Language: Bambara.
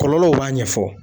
Kɔlɔlɔw b'a ɲɛfɔ